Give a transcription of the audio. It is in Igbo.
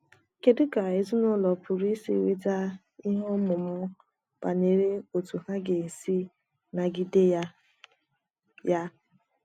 kedụ ka ezinụlọ pụrụ isi nweta ihe ọmụma banyere otú ha ga - esi nagide ya ya?